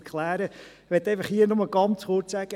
Ich möchte hier einfach nur ganz kurz sagen: